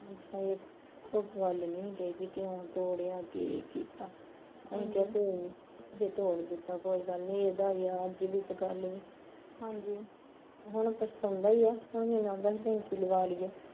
ਕੋਈ ਗੱਲ ਨਹੀਂ ਸੀ ਕਹੀ ਵੀ ਕਿਉ ਤੋੜਿਆ ਕੀ ਕੀਤਾ, ਅਸੀਂ ਕਿਹਾ ਕੋਈ ਨੀ, ਜੇ ਤੋੜ ਦਿੱਤਾ ਕੋਈ ਗੱਲ ਨੀ ਇਹਦਾ ਈ ਐ ਅੱਜ ਵੀ ਤੇ ਕੱਲ ਵੀ ਹੁਣ ਪਛਤਾਉਂਦਾ ਈ ਐ ਹੁਣ ਕਹਿਣਦਾ ਟੈਂਕੀ ਲਵਾਂ ਲੀਏ